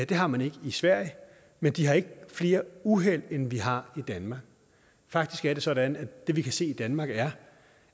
det har man ikke i sverige men de har ikke flere uheld end vi har i danmark faktisk er det sådan at det vi kan se i danmark er